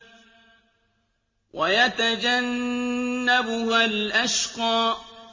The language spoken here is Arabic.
وَيَتَجَنَّبُهَا الْأَشْقَى